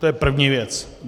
To je první věc.